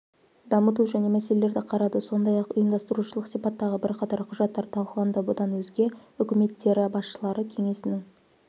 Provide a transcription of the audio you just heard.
дамыту және мәселелерді қарады сондай-ақ ұйымдастырушылық сипаттағы бірқатар құжаттар талқыланды бұдан өзге үкіметтері басшылары кеңесінің